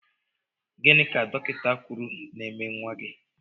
Gịnị ka dọkịta kwụrụ ná -eme nwa gị?